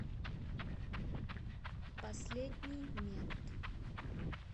последний мент